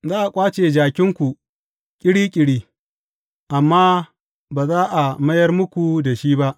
Za a ƙwace jakinku ƙiri ƙiri, amma ba za a mayar muku da shi ba.